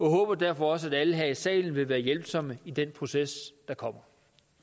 håber derfor også at alle her i salen vil være hjælpsomme i den proces der kommer